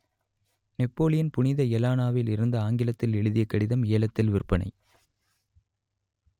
Napoleon புனித எலனாவில் இருந்து ஆங்கிலத்தில் எழுதிய கடிதம் ஏலத்தில் விற்பனை